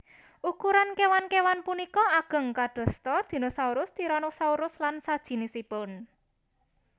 Ukuran kéwan kéwan punika ageng kadosta dinosaurus tyranosaurus lan sajinisipun